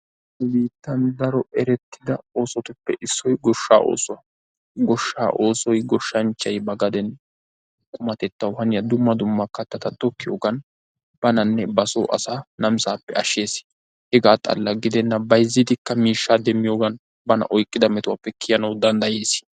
Nu biittan daro erettida oosotuppe issoy goshshaa oosuwa. Goshshaa oosoy goshshanchchay ba gaden qumatettawu haniya dumma dumma kattaa tokkiyogan bananne ba soo asaa namisaappe ashshees. Hegaa xalla gidenna bayzzidikka miishshaa demmiyogan bana oyqqida metuwappe kiyanawu danddays.